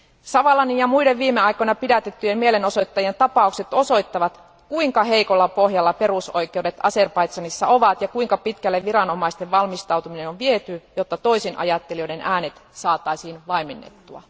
Savalanin ja muiden viime aikoina pidätettyjen mielenosoittajien tapaukset osoittavat, kuinka heikolla pohjalla perusoikeudet Azerbaidžanissa ovat ja kuinka pitkälle viranomaisten valmistautuminen on viety, jotta toisinajattelijoiden äänet saataisiin vaimennettua.